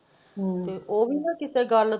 ਹਮ ਤੇ ਉਹ ਵੀ ਨਾਂ ਕਿੱਥੇ ਗੱਲ।